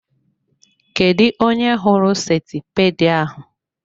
Kedụ onye hụrụ sentipiid ahụ?